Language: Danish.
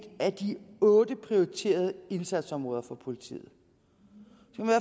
af de otte prioriterede indsatsområder for politiet